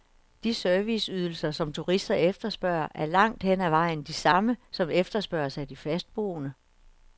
De serviceydelser, som turister efterspørger, er langt hen ad vejen de samme, som efterspørges af de fastboende.